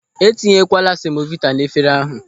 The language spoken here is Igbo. E tinyekwala semovita n'efere ahụ.